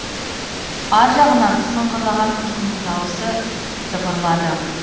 ар жағынан сыңғырлаған күлкінің дауысы дыбырлады